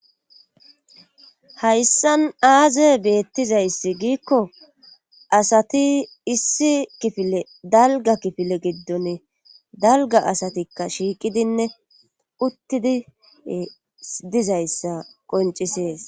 hayssan aaze beettizayssi giikko asati issi kifile dalga kifile giddonne dalga asatikka shiiqidinne uttidi dizayssa qoncisees